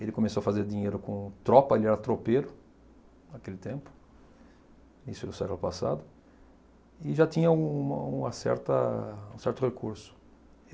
Ele começou a fazer dinheiro com tropa, ele era tropeiro naquele tempo, isso no século passado, e já tinha um uma certa um certo recurso.